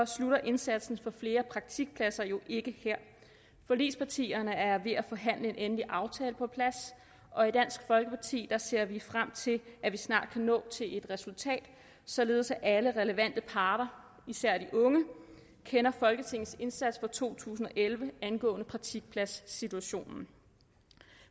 slutter indsatsen få flere praktikpladser jo ikke her forligspartierne er ved at forhandle en endelig aftale på plads og i dansk folkeparti ser vi frem til at vi snart kan nå til et resultat således at alle relevante parter især de unge kender folketingets indsats for to tusind og elleve angående praktikpladssituationen